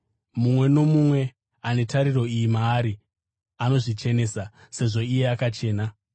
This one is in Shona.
Mumwe nomumwe ane tariro iyi maari anozvichenesa, sezvo iye akachena.